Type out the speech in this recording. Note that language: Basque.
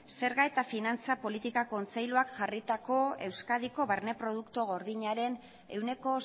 zerga eta finantza politika kontseiluak jarritako euskadiko barne produktu gordinaren ehuneko